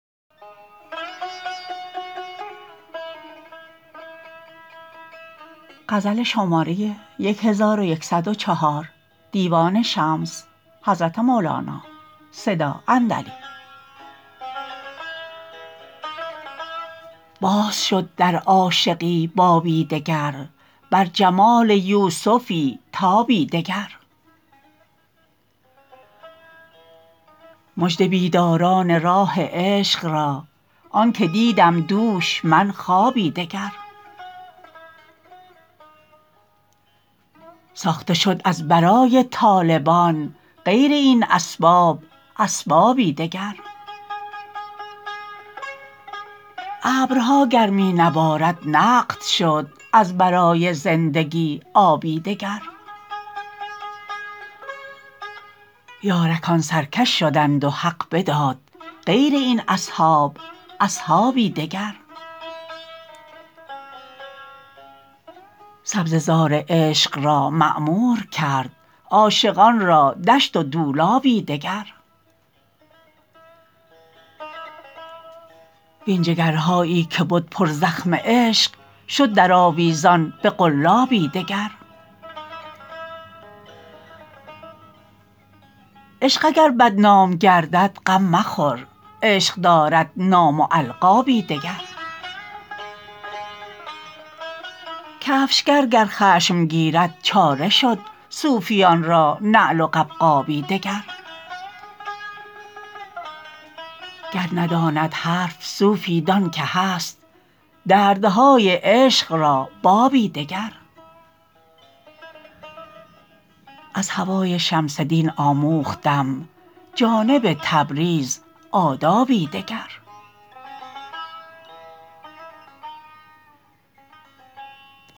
باز شد در عاشقی بابی دگر بر جمال یوسفی تابی دگر مژده بیداران راه عشق را آنک دیدم دوش من خوابی دگر ساخته شد از برای طالبان غیر این اسباب اسبابی دگر ابرها گر می نبارد نقد شد از برای زندگی آبی دگر یارکان سرکش شدند و حق بداد غیر این اصحاب اصحابی دگر سبزه زار عشق را معمور کرد عاشقان را دشت و دولابی دگر وین جگرهایی که بد پرزخم عشق شد درآویزان به قلابی دگر عشق اگر بدنام گردد غم مخور عشق دارد نام و القابی دگر کفشگر گر خشم گیرد چاره شد صوفیان را نعل و قبقابی دگر گر نداند حرف صوفی دان که هست دردهای عشق را بابی دگر از هوای شمس دین آموختم جانب تبریز آدابی دگر